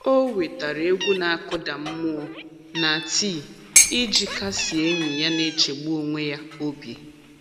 O wetara egwu na-akụda mmụọ na tii iji kasie enyi ya na-echegbu onwe ya obi.